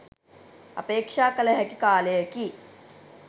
අපේක්‍ෂා කළ හැකි කාලයකි